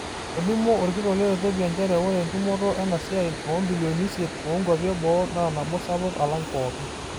Etolimuo olkitok le Ethiopia nchere ore entumoto ena siaai o bilioni isiet oo nkwapi e boo naa nabo sapuk alang pooki